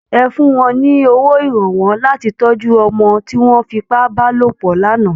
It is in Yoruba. Ẹ fún wọn ní owó ìrànwọ́ láti tọ́jú ọmọ tí wọ́n fi ipá bá lòpọ̀ lánàá!